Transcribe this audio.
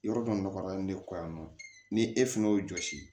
Yɔrɔ dɔ nɔgɔyalen de kɔ yan nɔ ni e fɛnɛ y'o jɔsi